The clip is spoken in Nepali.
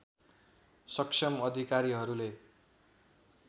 सक्षम अधिकारीहरूले